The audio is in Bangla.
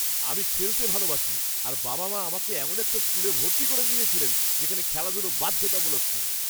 আমি খেলতে ভালোবাসি, আর বাবা মা আমাকে এমন একটা স্কুলে ভর্তি করে দিয়েছিলেন যেখানে, খেলাধুলো বাধ্যতামূলক ছিল।